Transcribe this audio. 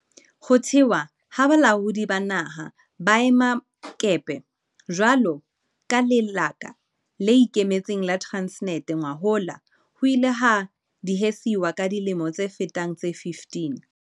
Ho thehwa ha Balaodi ba Naha ba Maemakepe jwalo ka lekala le ikemetseng la Transnet ngwahola ho ile ha diehiswa ka dilemo tse fetang tse 15.